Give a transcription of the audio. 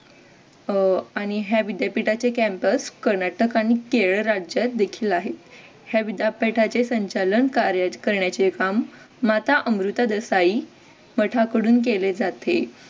अह आणि या विद्यापीठाचे campus कर्नाटक आणि केरळ राज्यात देखील आहे या विद्यापीठाचे संचालन कार्य करण्याचे काम माता अमृता देसाई पठा कडून केले जाते.